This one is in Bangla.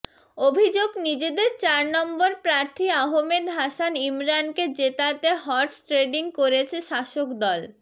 অভিযোগ নিজেদের চার নম্বর প্রার্থী আহমেদ হাসান ইমরানকে জেতাতে হর্স ট্রেডিং করেছে শাসক দল